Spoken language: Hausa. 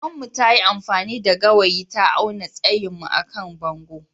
Maman mu ta yi amfani da gawayi ta awna tsayin mu à kan bongo.